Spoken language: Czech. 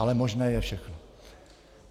Ale možné je všechno.